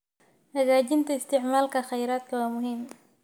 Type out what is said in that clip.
Hagaajinta isticmaalka kheyraadka waa muhiim.